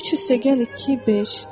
3 + 2 = 5.